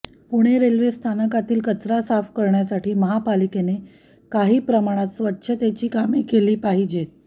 Pune railway स्थानकातील कचरा साफ करण्यासाठी महापालिकेने काही प्रमाणात स्वच्छतेची कामे केली पाहिजेत